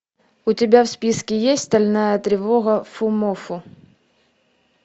у тебя в списке есть стальная тревога фумоффу